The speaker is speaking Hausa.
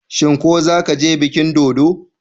Shin ko zaka je bikin dodo?